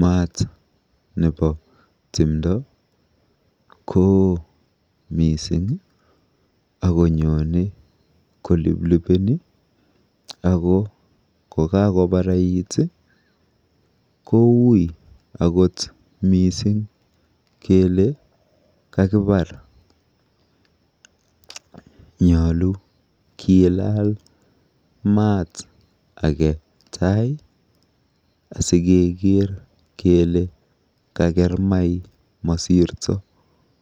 Maata nebo timdo koo mising akonyone koliplipeni ako kokakoparait koui akot mising kele kakipar. Nyolu kinam maat age taai asikeker kele kaker mai masirto.